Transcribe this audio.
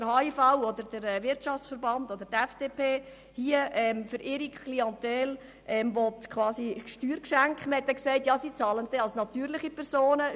Ich muss deshalb auch nicht mehr alle Argumente dagegen aufführen.